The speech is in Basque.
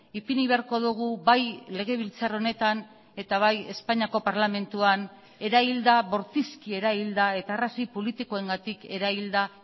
ipini beharko dugu bai legebiltzar honetan eta bai espainiako parlamentuan erailda bortizki erailda eta arrazoi politikoengatik erailda